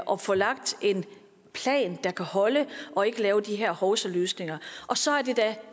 og få lagt en plan der kan holde og ikke lave de her hovsaløsninger og så er det da